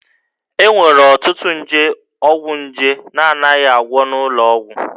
E nwere ọtụtụ nje ọgwụnje na-anaghị agwọ n'ụlọ ọgwụ